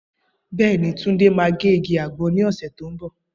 Bẹẹni, Tunde máa ge igi agbon ni ose to n bo.